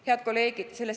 Head kolleegid!